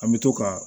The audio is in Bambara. An bɛ to ka